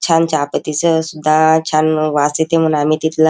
छान चहापत्ती च सुद्धा छान वास येते म्हणून आम्ही तिथला--